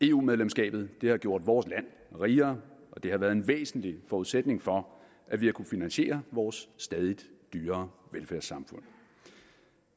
eu medlemskabet har gjort vores land rigere og det har været en væsentlig forudsætning for at vi har kunnet finansiere vores stadig dyrere velfærdssamfund